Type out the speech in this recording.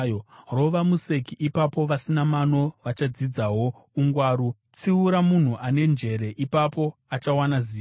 Rova museki, ipapo vasina mano vachadzidzawo ungwaru; tsiura munhu ane njere, ipapo achawana zivo.